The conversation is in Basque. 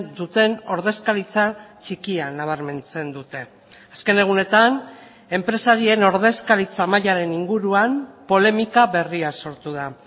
duten ordezkaritza txikia nabarmentzen dute azken egunetan enpresarien ordezkaritza mailaren inguruan polemika berria sortu da